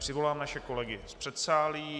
Přivolám naše kolegy z předsálí.